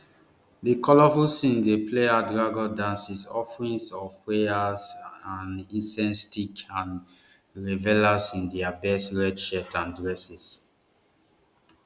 di colourful scenes dey play out dragon dances offerings of prayers and incense sticks and revelers in dia best red shirts and dresses